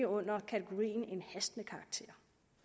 under kategorien hastende karakter